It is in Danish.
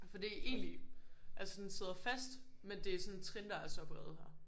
Fordi egentlig altså den sidder fast men det er sådan trin der er så brede her